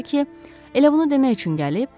elə bunu demək üçün gəlib?